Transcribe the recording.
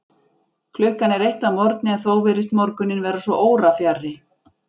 Klukkan er eitt að morgni, en þó virðist morguninn vera svo órafjarri.